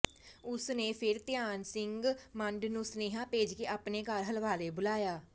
ਉਸ ਨੇ ਫਿਰ ਧਿਆਨ ਸਿੰਘ ਮੰਡ ਨੂੰ ਸੁਨੇਹਾ ਭੇਜ ਕੇ ਆਪਣੇ ਘਰ ਹਲਵਾਰੇ ਬੁਲਾਇਆ